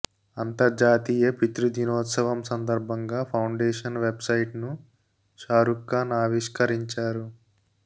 అంతర్జాతీయ పితృ దినోత్సవం సందర్భంగా ఫౌండేషన్ వెబ్ సైట్ ను షారుక్ ఖాన్ ఆవిష్కరించారు